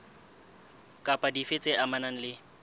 kapa dife tse amanang le